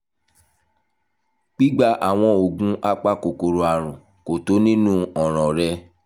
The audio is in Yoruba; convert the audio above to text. gbígba àwọn oògùn apakòkòrò àrùn kò tó nínú ọ̀ràn rẹ